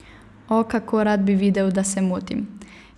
O, kako rad bi videl, da se motim.